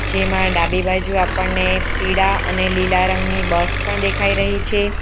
જેમાં ડાબી બાજુ આપણને પીળા અને લીલા રંગની બસ પણ દેખાઈ રહી છે.